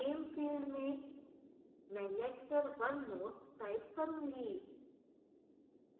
name field में मैं lecture 1 notes type करूंगी